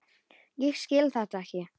Ég skil þetta ekki.